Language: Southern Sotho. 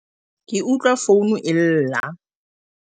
ke utlwa founu e lla